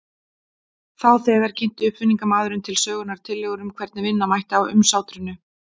Þá þegar kynnti uppfinningamaðurinn til sögunnar tillögur um hvernig vinna mætti á umsátrinu.